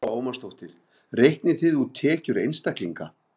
Lára Ómarsdóttir: Reiknið þið út tekjur einstaklinga?